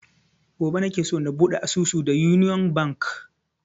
Gobe nake so na buɗe asusu da union bank